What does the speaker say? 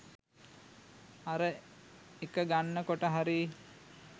අර එක ගන්න කොට හරි